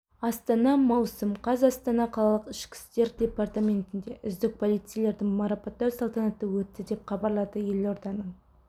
астана маусым қаз астана қалалық ішкі істер департаментінде үздік полицейлерді марапаттау салатанаты өтті деп хабарлады елорданың